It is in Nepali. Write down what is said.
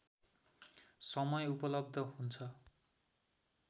समय उपलब्ध हुन्छ